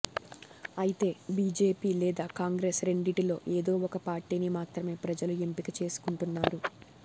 అయితే బీజేపీ లేదా కాంగ్రెస్ రెండింటిలో ఏదో ఒక పార్టీని మాత్రమే ప్రజలు ఎంపిక చేసుకుంటున్నారు